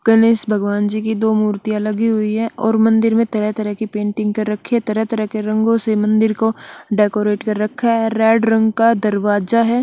गणेश भगवान जी की दो मूर्तिया लगी हुई है और मंदिर में तरह तरह की पैन्टिन्ग कर रखी है तरह तरह के रंगो से मंदिर को डेकोरेट कर रखा है रेड रंग का दरवाज़ा है।